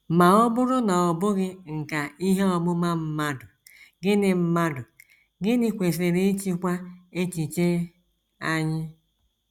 Ma ọ bụrụ na ọ bụghị nkà ihe ọmụma mmadụ, gịnị mmadụ, gịnị kwesịrị ịchịkwa echiche anyị?